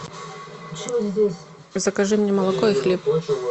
закажи мне молоко и хлеб